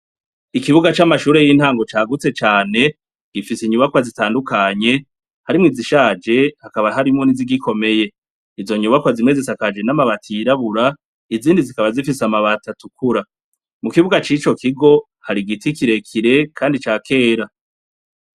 Ikibuga c'amashure y'intango cagutse cane, gifise inyubakwa zitandukanye, harimwo izishaje hakaba harimwo n'izigikomeye, izo nyubakwa zimwe zisakajwe n'amabati yirabura izindi zikaba zifise amabati atukura, mukibuga cico kigo hari igiti kirekire kandi ca kera.